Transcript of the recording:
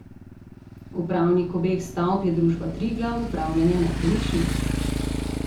Upravnik obeh stavb je družba Triglav, Upravljanje nepremičnin.